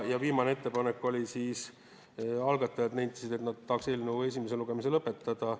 Viimane ettepanek oli see, et algatajad nentisid, et nad tahaks eelnõu esimese lugemise lõpetada.